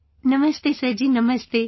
Namaste Sir Ji, Namaste